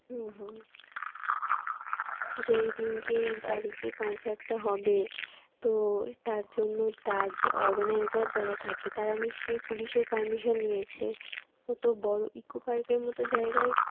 হম হম যে এই দিনকে এই তারিখে concert টা হবে তো তার জন্য তার organiser যারা থাকে তারা নিশ্চয়ই পুলিশের permission নিয়েছে কত বড় Eco Park এর মত জায়গায়